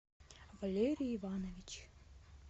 валерий иванович